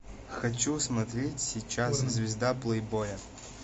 хочу смотреть сейчас звезда плейбоя